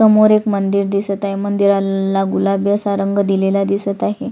समोर एक मंदिर दिसत आहे मंदिराला गुलाबी असा रंग दिलेला दिसत आहे.